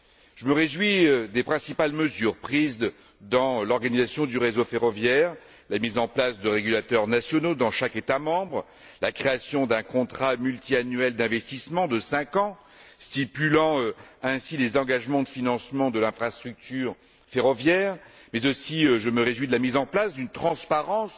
Je me réjouis des principales mesures prises dans l'organisation du réseau ferroviaire la mise en place de régulateurs nationaux dans chaque État membre, la création d'un contrat multiannuel d'investissement de cinq ans stipulant ainsi les engagements de financement de l'infrastructure ferroviaire, mais je me réjouis aussi de la mise en place d'une transparence